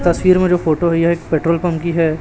तस्वीर में जो फोटो है एक पेट्रोल पंप की है।